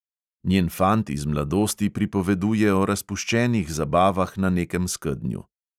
Njen fant iz mladosti pripoveduje o razpuščenih zabavah na nekem skednju.